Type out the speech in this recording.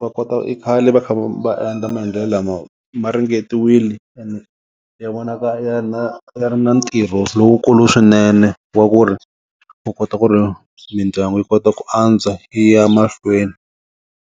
va kota i khale va kha va endla maendlelo lama ma ringetiwili and ya vonaka ya na ya ri na ntirho lowukulu swinene wa ku ri u kota ku ri mindyangu yi kota ku antswa yi ya mahlweni.